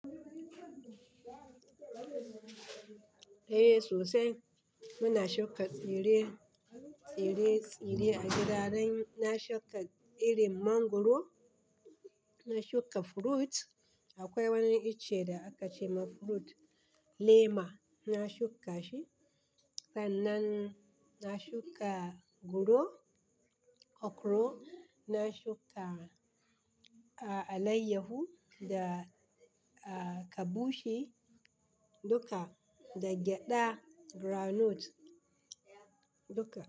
Eh sosai. Muna shuka tsire-tsire a gida dan. Na shuka irin mangwaro, na shuka fruit. Akwai wani ice da aka ce ma fruit, lema. Na shuka shi. Sannan na shuka guro, okro, na shuka alayyahu da kabushi duka, da gyada, groundnut duka.